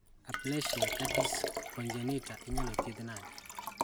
Aplasia cutis congenita inyalo thiedhi nade